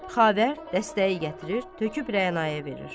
Xavər dəstəyi gətirir, töküb Rəna-yə verir.